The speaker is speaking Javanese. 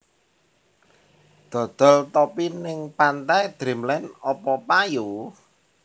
Dodol topi ning Pantai Dreamland opo payu?